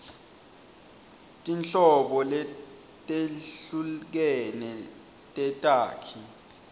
tinhlobo letehlukene tetakhi